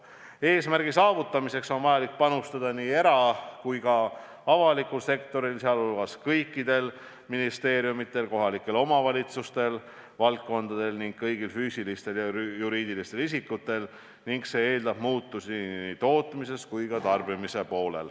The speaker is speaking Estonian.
Eesmärgi saavutamiseks on vaja panustada nii erasektoril kui ka avalikul sektoril, sh kõikidel ministeeriumidel ja kohalikel omavalitsustel, kõigil füüsilistel ja juriidilistel isikutel, ning selleks tuleb teha muutusi nii tootmises kui ka tarbimises.